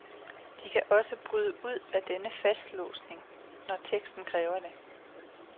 De kan også bryde ud af denne fastlåsning, når teksten kræver det.